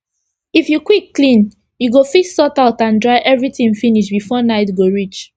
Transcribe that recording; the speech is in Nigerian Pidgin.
if u quick clean u go fit sort out and dry everi tin finish before night go reach